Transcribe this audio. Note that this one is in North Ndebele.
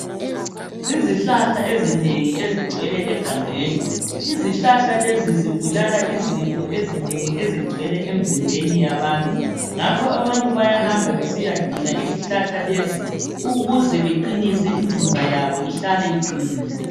Izihlahla ezinengi ezigcwele egangeni izihlahla lezi zibulala izifo ezinengi ezigcwele emzimbeni yabantu ngakho abantu bayahamba besiyadinga izihlahla lezi ukuze beqinise imizimba yabo ihlale iqinile